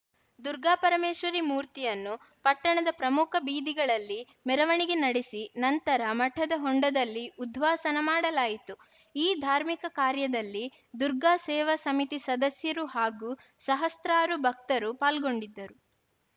ದುರ್ಗಾಪರಮೇಶ್ವರಿ ಮೂರ್ತಿಯನ್ನು ಪಟ್ಟಣದ ಪ್ರಮುಖ ಬೀದಿಗಳಲ್ಲಿ ಮೆರವಣಿಗೆ ನಡೆಸಿ ನಂತರ ಮಠದ ಹೊಂಡದಲ್ಲಿ ಉದ್ವಾಸನಾ ಮಾಡಲಾಯಿತು ಈ ಧಾರ್ಮಿಕ ಕಾರ್ಯದಲ್ಲಿ ದುರ್ಗಾ ಸೇವಾ ಸಮಿತಿ ಸದಸ್ಯರು ಹಾಗೂ ಸಹಸ್ರಾರು ಭಕ್ತರು ಪಾಲ್ಗೊಂಡಿದ್ದರು